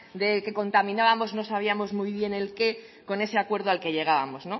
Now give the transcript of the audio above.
de que contaminábamos no sabíamos muy bien el qué con ese acuerdo al que llegábamos